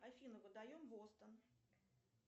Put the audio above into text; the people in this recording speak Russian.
афина выдаем бостон